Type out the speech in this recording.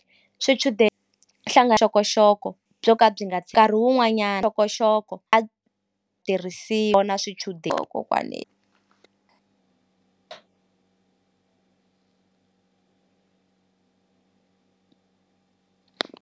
swichudeni byo ka byi nga nkarhi wun'wanyana a tirhisi yona swichudeni kokwane.